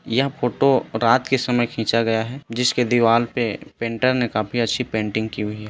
यह फोटो रात के समय खिंचा गया है जिसके दीवार में पेंटर ने काफी अच्छी पेंटिंग की हुई है।